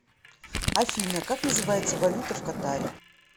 афина как называется валюта в катаре